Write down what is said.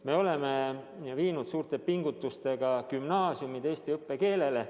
Me oleme suurte pingutustega viinud gümnaasiumid üle eesti õppekeelele.